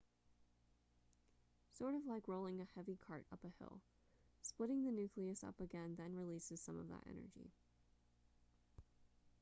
sort of like rolling a heavy cart up a hill splitting the nucleus up again then releases some of that energy